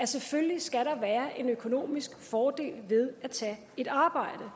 selvfølgelig skal være en økonomisk fordel ved at tage et arbejde